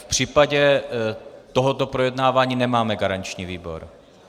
V případě tohoto projednávání nemáme garanční výbor.